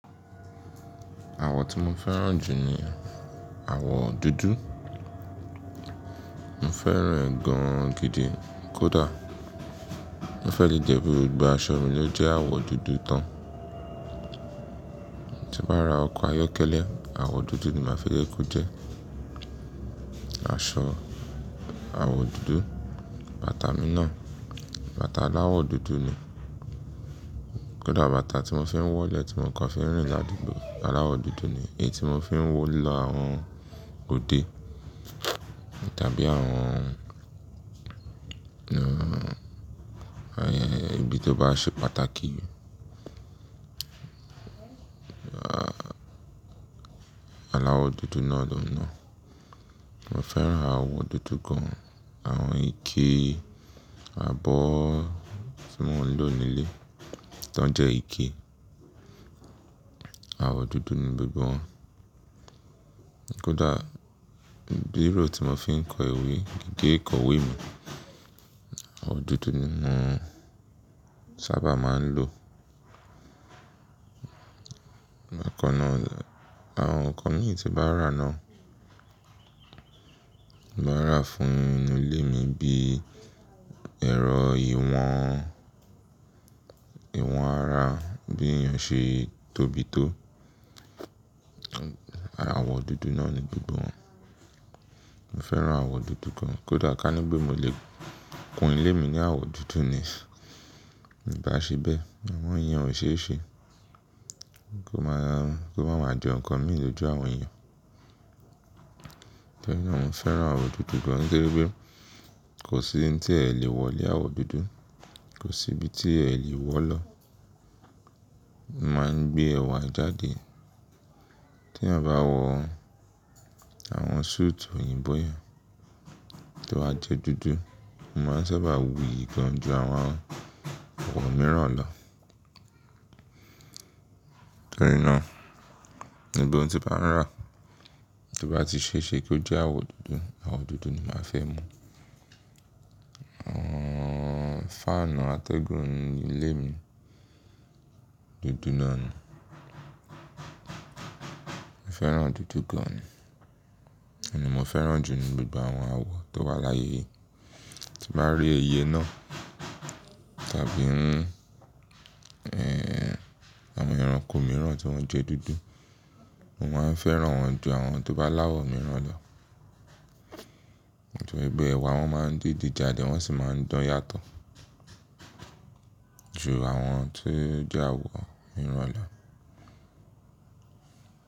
Àwọ̀ tí mo fẹ́ràn jù ni àwọ̀ dúdú. Mo fẹ́ràn ẹ̀ gan gan gidi. Kódà mo fẹ́ lè jẹ́ bí gbogbo aṣọ mi ló jẹ́ àwọ̀ dúdú tán. Tí bá ra ọkọ̀ ayọ́kẹ́lẹ́ àwọ̀ dúdú ni màá fi jẹ́kọ́ jẹ́. Aṣọ àwọ̀ dúdú, bàtà mi náà, bàtà aláwọ̀ dúdú ni. Kódà bàtà tí mo fi ń wọ̀lẹ́ tí mo kan fi ń rìn ládùúgbò aláwọ̀ dúdú ni. Eyín tí mo fi ń wó lọ àwọn òde tàbí àwọn, ibi tó bá ṣe pàtàkì Aláwọ̀ dúdú náà lòhun ná. Mo fẹ́ràn àwọ̀ dúdú gan. Àwọn ike, abọ́ tí mò ń lò nílé tí wọ́n jẹ́ ike, àwọ̀ dúdú ni gbogbo wọn. Kódà bírò tí mo fi ń kọ ìwé, gígé ìkọ̀wé mi, àwọ̀ dúdú ni mò ń sábà máa ń lò. Àwọn nǹkan níyì tí màá rà ná, màá rà fún inú ilé mi bí ẹ̀rọ ìwọ̀n, ìwọ̀n ara, bí èèyàn ṣe tóbi tó, àwọ̀ dúdú náà ni gbogbo wọn. Mo fẹ́ràn àwọ̀ dúdú gan gan. Kódà kání pé mo lè kun ilé mi ní àwọ̀ dúdú ni, ìbá ṣe bẹ́ẹ̀. Amọ́ ìyẹn ò ṣe é ṣe. Kó máa ma jọǹkan mí lójú àwọn èèyàn. Torí náà mo fẹ́ràn àwọ̀ dúdú gan nítorí pé kò sí tí ẹ lè wọ̀lé àwọ̀ dúdú, kò sí ibi tí ẹ lè wọ̀ lọ. Ó máa ń gbé ẹwà jáde. Tí èèyàn bá wọ àwọn suit òyìnbó yẹn tó wá jẹ́ dúdú, mo máa sábà wuyì gan ju àwọn àwọ̀ mìíràn lọ. Torí náà, gbogbo ohun tí màá ń rà tí bá ti ṣe é ṣe kí ó jẹ́ àwọ̀ dúdú, àwọ̀ dúdú ni màá fẹ́ mú. Fáànù àtẹ́gùn inú ilé mi dúdú náà ni. Mo fẹ́ràn dúdú gan ni. Òhun ní mo fẹ́ràn jù lọ ní gbogbo àwọn àwọ̀ tó wà láyé. Tí màá rí iye náà tàbí àwọn ẹranko mìíràn tí wọ́n jẹ́ dúdú, mò máa ń fẹ́ràn wọn ju àwọn tó bá aláwọ̀ mìíràn lọ. Nítorí pé ẹwà wọn máa ń dìde jáde wọ́n sì máa ń dán yàtọ̀ ju àwọn tó jẹ́ àwọ̀ mìíràn lọ.